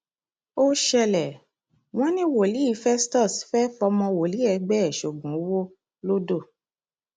ó ṣẹlẹ wọn ní wòlíì festus fẹẹ fọmọ wòlíì ẹgbẹ ẹ sóògùn owó lọdọ